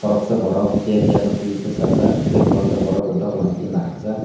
baksa borok bag eiagra tai basajak tai koroksa borok bw doglam digi naharjak.